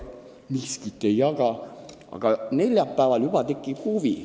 Miskit ei jaga!", aga neljapäeval juba tekib huvi.